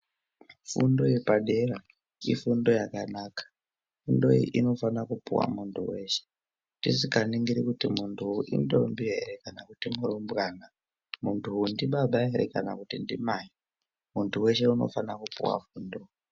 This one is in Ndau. Fundo yepadera ifundo yakanaka. Fundoyi inofana kupuwa muntu weshe, tisikaningiri kuti muntuyu indombi ere kana kuti murumbwana, muntuyu ndibaba ere kana kuti ndimai. Muntu weshe unofana kupuwa fundo.